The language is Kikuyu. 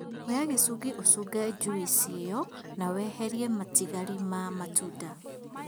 Oya gĩcungi ũcunge njuici ĩyo na weherie matigari ma matunda